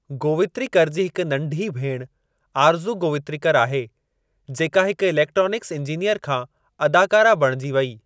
गोवित्रिकर जी हिकु नंढी भेणु , आरज़ू गोवित्रिकर आहे, जेको हिकु इलेक्ट्रॉनिक्स इंजीनियर खां अदाकारा बणिजी वेई।